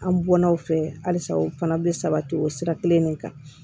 An bɔnnaw fɛ halisa o fana bɛ sabati o sira kelen de kan